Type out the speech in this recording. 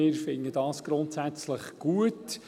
Wir finden dies grundsätzlich gut.